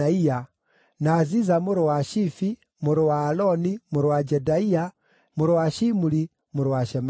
na Ziza mũrũ wa Shifi, mũrũ wa Aloni, mũrũ wa Jedaia, mũrũ wa Shimuri, mũrũ wa Shemaia.